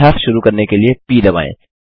अभ्यास शुरू करने के लिए प दबाएँ